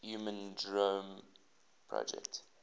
human genome project